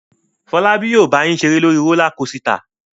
Fọlábí yóò bá yín ṣeré lórí rólá kosità.